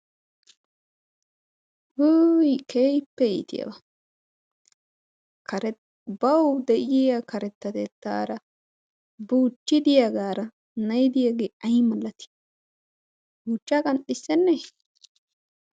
Wuyii! keehippe iitiyaaba baw de'iyaa karetettetara buchchi de'iyaagara na'i diyaage aybba iiti! buuchchaa qanxxisene!